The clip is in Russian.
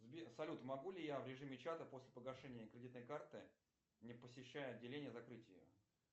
сбер салют могу ли я в режиме чата после погашения кредитной карты не посещая отделения закрыть ее